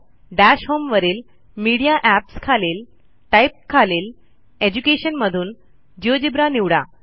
दश होम वरीलMedia Appsखालील टाइप खालील Educationमधून जिओजेब्रा निवडा